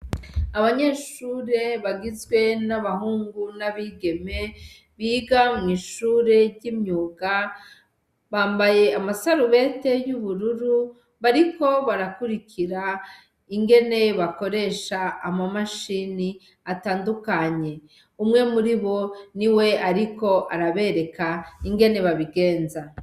Abanyeshure bagizwe n'abahungu n'abigeme biga mw' ishure ry' imyuga bambaye ama sarubete y' ubururu , bariko barakurikira ingene bakoresha ama mashini atandukanye .Umwe muri bo niwe ariko arabereka ingene babigenza.